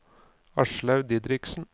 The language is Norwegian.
Aslaug Didriksen